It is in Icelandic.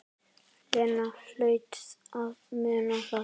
Lena hlaut að muna það.